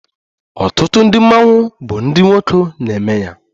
Ọtụtụ ndị mmanwụ bụ ndị nwoke na-eme ya